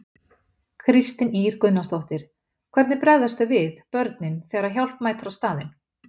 Kristín Ýr Gunnarsdóttir: Hvernig bregðast þau við, börnin, þegar að hjálp mætir á staðinn?